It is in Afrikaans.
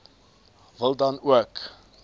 wil dan ook